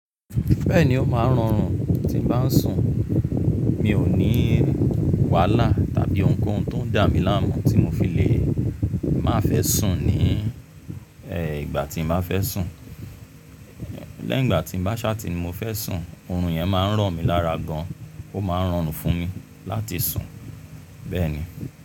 Bẹ́ẹ̀ni, ó máa ń rọrùn tí n bá ń sùn. Mi ò ní wàhálà tàbí ohunkóhun tó ń dà mí láàmú tí mo fi lè má fẹ́ sùn ní ìgbà tí mo bá fẹ́ sùn. Lẹ́ ye ìgbà tí mo bá ṣáàtì ní mo fẹ́ sùn, ọ̀run yẹn máa ń ràn mí lára gan, ó máa ń rọrùn fún mi láti sùn bẹ́ẹ̀ni.